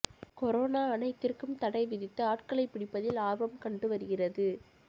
corona அனைத்திற்கும் தடை விதித்து ஆட்களை பிடிப்பதில் ஆர்வம் கண்டு வருகிறது